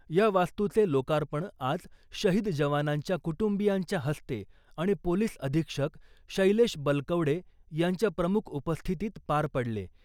या वास्तूचे लोकार्पण आज शहीद जवानांच्या कुटुंबीयांच्या हस्ते आणि पोलिस अधीक्षक शैलेश बलकवडे यांच्या प्रमुख उपस्थितीत पार पडले .